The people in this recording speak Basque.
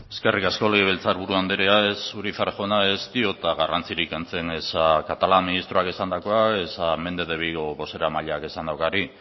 eskerrik asko legebiltzar buru anderea urizar jauna ez diot garrantzirik kentzen catalá ministroak esandakoari ezta méndez de vigo bozeramaileak esandakoari